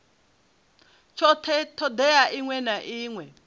tshothe thodea iṅwe na iṅwe